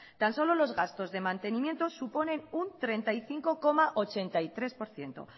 tan solo los gastos de mantenimiento suponen un treinta y cinco coma ochenta y tres por ciento